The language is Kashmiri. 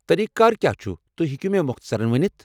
طریٖقہٕ کار کیٛاہ چھُ، تُہۍ ہیكو مےٚ مۄختصرن ؤنِتھ؟